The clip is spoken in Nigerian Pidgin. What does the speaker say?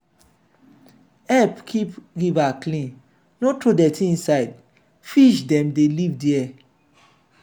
help keep river clean no throw dirty inside fish dem dey live there.